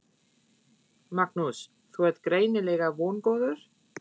Magnús: Þú ert greinilega vongóður?